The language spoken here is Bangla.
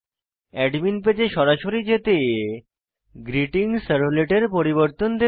অ্যাডমিন পেজে সরাসরি যেতে গ্রীটিংসার্ভলেট কিভাবে পরিবর্তন করে